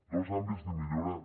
dos àmbits de millora